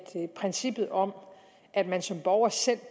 princippet om at man som borger selv